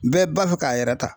Bɛɛ b'a fɛ k'a yɛrɛ ta